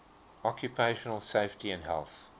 occupational safety and health